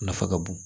Nafa ka bon